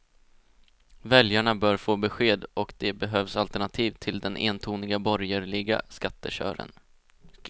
Väljarna bör få besked och det behövs alternativ till den entoniga borgerliga skattekören.